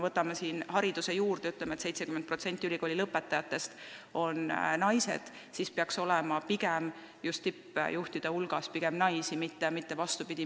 Võtame hariduse – 70% ülikoolilõpetajatest on naised, seega peaks tippjuhtide hulgas rohkem olema pigem naisi, mitte mehi.